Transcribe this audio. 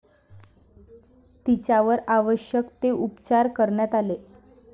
तिच्यावर आवश्यक ते उपचार करण्यात आले.